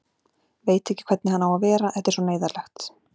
Veit ekki hvernig hann á að vera, þetta er svo neyðarlegt.